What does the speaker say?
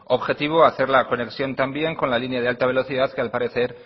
objetivo hacer la conexión también con la línea de alta velocidad que al parecer